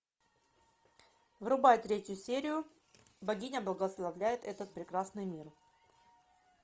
врубай третью серию богиня благословляет этот прекрасный мир